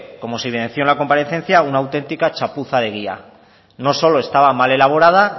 como se mencionó en la comparecencia una auténtica chapuza no solo estaba mal elaborada